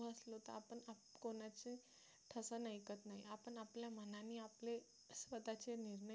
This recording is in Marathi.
तसं ऐकत नाही आपण आपल्या मनाने आपले स्वतःचे निर्णय घेऊ